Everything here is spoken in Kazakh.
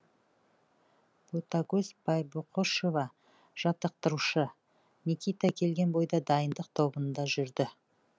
ботакөз байбақұшева жаттықтырушы никита келген бойда дайындық тобында жүрді